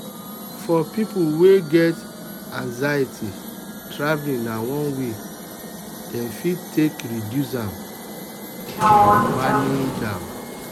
for people wey get anxiety traveling na one way wey dem fit take reduce am or manage am.